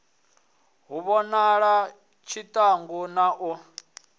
hu vhonale tshiṱangu na u